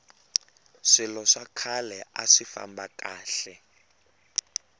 swilo swa khale aswi famba kahle